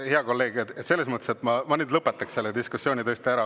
Hea kolleeg, ma lõpetaks nüüd selle diskussiooni tõesti ära.